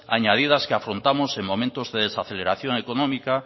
añadidas que afrontamos en momentos de desaceleración económica